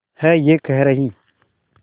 है ये कह रही